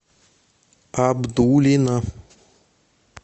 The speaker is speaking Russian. абдулино